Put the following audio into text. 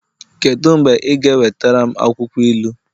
kedu mgbe ị ga-ewetara m akwụkwọ ilu?